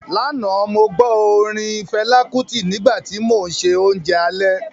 Lánàá, mo gbó tí orin Fẹlá Kútì nígbà tí mò ń se oúnjẹ alẹ́